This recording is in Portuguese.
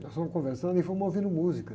Nós fomos conversando e fomos ouvindo música.